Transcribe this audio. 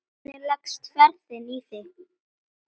Hvernig leggst ferðin í þig?